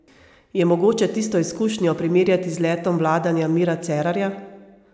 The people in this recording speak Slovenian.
Je mogoče tisto izkušnjo primerjati z letom vladanja Mira Cerarja?